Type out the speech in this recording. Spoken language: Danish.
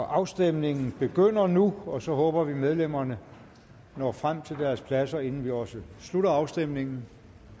afstemningen begynder nu og så håber vi at medlemmerne når frem til deres pladser inden vi også slutter afstemningen